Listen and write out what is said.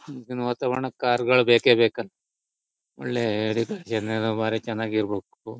ಈಗಿನ ವಾತಾವರಣಕ್ಕೆ ಕಾರ್ ಗಳ್ ಬೇಕೇ ಬೇಕ ಒಳ್ಳೆ ಏರಿಯಾದ ಜನನು ಬಾರಿ ಚೆನ್ನಾಗಿ ಇರ್ಬೇಕು.